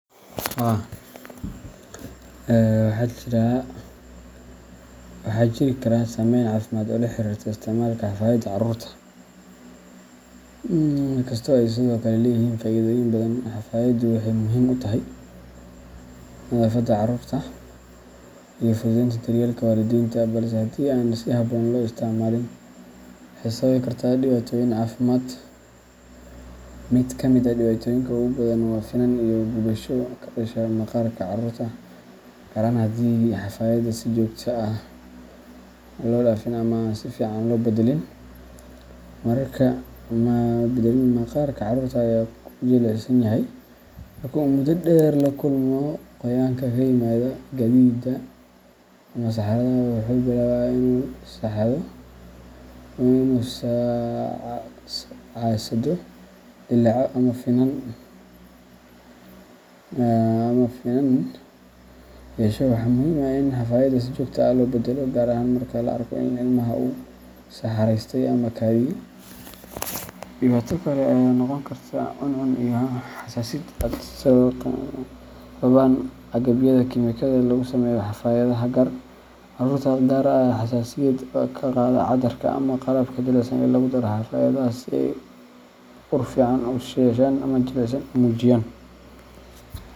Haa, waxaa jiri kara saameyn caafimaad oo la xiriirta isticmaalka xafaayadda carruurta, inkastoo ay sidoo kale leeyihiin faa’iidooyin badan. Xafaayaddu waxay muhiim u tahay nadaafadda carruurta iyo fududeynta daryeelka waalidiinta, balse haddii aan si habboon loo isticmaalin, waxay sababi kartaa dhibaatooyin caafimaad. Mid ka mid ah dhibaatooyinka ugu badan waa finan iyo gubasho ka dhasha maqaarka caruurta, gaar ahaan haddii xafaayadda si joogto ah loo dhaafin ama aan si fiican loo beddelin. Maqaarka caruurta aad ayuu u jilicsan yahay, marka uu muddo dheer la kulmo qoyaanka ka yimaada kaadida ama saxarada, wuxuu bilaabaa inuu casaado, dillaaco ama finan yeesho. Waxaa muhiim ah in xafaayadda si joogto ah loo beddelo, gaar ahaan marka la arko in ilmaha uu saxaraystay ama kaadiyay. Dhibaato kale ayaa noqon karta cuncun iyo xasaasiyad ay sababaan agabyada kimikada ah ee lagu sameeyo xafaayadaha qaar. Carruurta qaar ayaa xasaasiyad ka qaada cadarka ama qalabka jilicsan ee lagu daro xafaayadaha si ay ur fiican u yeeshaan ama jilicsanaan u muujiyaan.